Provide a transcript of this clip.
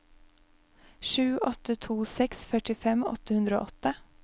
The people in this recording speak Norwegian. sju åtte to seks førtifem åtte hundre og åtte